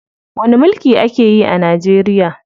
Wani mulki ake yi a Najeriya?